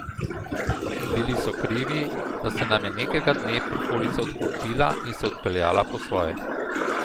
In bili so krivi, da se nam je nekega dne prikolica odklopila in se odpeljala po svoje.